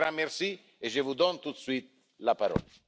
Un grand merci et je vous donne tout de suite la parole.